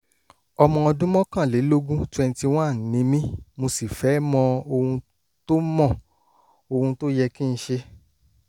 ọmọ ọdún mọ́kànlélógún [21] ni mí mo sì fẹ́ mọ ohun tó mọ ohun tó yẹ kí n ṣe